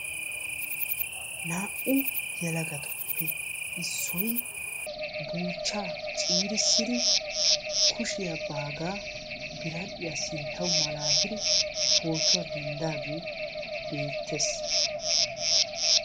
Naa'u yelagattuppe issoy baaga buuchcha ciirissiddi kushiya biradhdhiya sintta malattiddi pootuwa denddagee beetees.